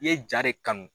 I ye ja de kanu